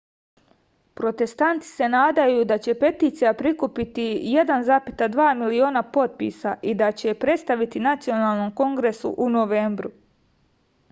protestanti se nadaju da će peticija prikupiti 1,2 miliona potpisa i da će je predstaviti nacionalnom kongresu u novembru